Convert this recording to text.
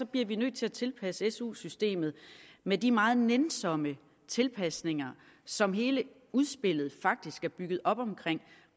bliver vi nødt til at tilpasse su systemet med de meget nænsomme tilpasninger som hele udspillet faktisk er bygget op om